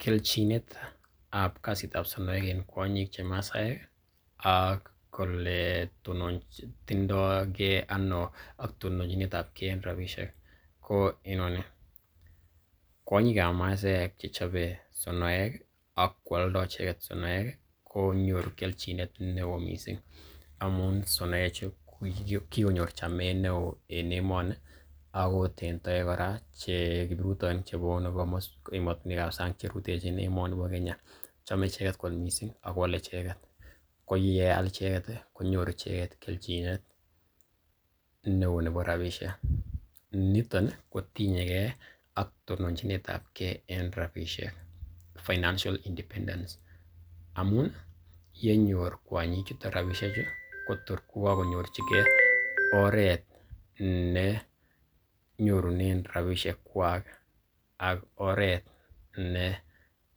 Kelchinet ab kasitab sonoek en kwonyik che Masaaek ak ole tononjindo ge ano tononjinetabge en rabisiek ko inoni, kwonyik ab Masaaek che chobe sonoek ak koalda icheget sonoek konyoru kelchin neo mising amun sonoechuju ko kigonyor chametab neo en emoni agot en toek kora kiprutoinik chebunu komoswek ab sang che rutechin emoni bo Kenya. Chome icheget kot mising ago ole icheget. Ko yeal icheget konyoru icheget kelchinet neo nebo rabishek. Niton ii kotinye ak tononjinet ab gee en rabishek financial independence amun ye nyor kwonyichuto rabinichu kotor ko kagonyorjige oret ne nyorunen rabishek kwak ak oret ne